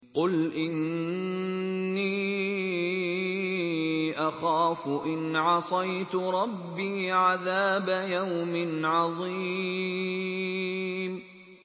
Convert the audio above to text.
قُلْ إِنِّي أَخَافُ إِنْ عَصَيْتُ رَبِّي عَذَابَ يَوْمٍ عَظِيمٍ